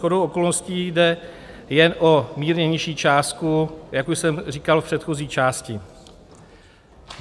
Shodou okolností jde jen o mírně nižší částku, jak už jsem říkal v předchozí části.